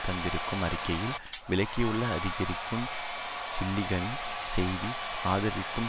தந்திருக்கும் அறிக்கையில் விளக்கியுள்ள அதிகரிக்கும் ஜில்லிகனின் செய்தி ஆதாரத்திற்கும்